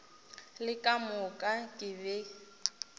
le ka moka ke be